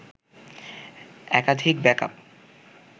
একাধিক ব্যাকআপ